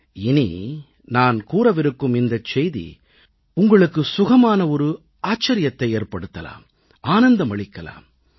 நான் இனி கூறவிருக்கும் இந்தச் செய்தி உங்களுக்கு சுகமான ஒரு ஆச்சரியத்தை ஏற்படுத்தலாம் ஆனந்தம் அளிக்கலாம்